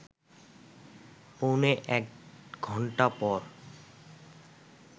পৌনে এক ঘণ্টা পর